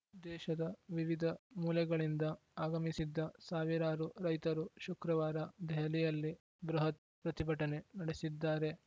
ದೇಶದ ವಿವಿಧ ಮೂಲೆಗಳಿಂದ ಆಗಮಿಸಿದ್ದ ಸಾವಿರಾರು ರೈತರು ಶುಕ್ರವಾರ ದೆಹಲಿಯಲ್ಲಿ ಬೃಹತ್‌ ಪ್ರತಿಭಟನೆ ನಡೆಸಿದ್ದಾರೆ